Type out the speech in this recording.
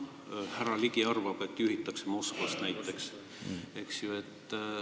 Härra Ligi arvab, et seda juhitakse näiteks Moskvast.